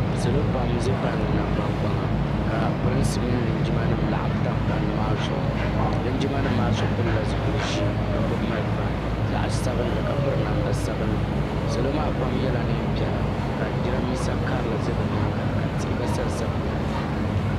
Salo pam n za palli nangban kpaŋa ka pirinsi mini linjima nim laɣim tam palli maa zuɣu linjima nim maa so pili la zipili ʒee ka gbubi malifa zaɣa sabinli ka piri namda sabinli salo maa pam yɛla niɛn piɛla ka jiranbiisa karili za bi nyaanga ka tihi gba sa n sa bi nyaanga.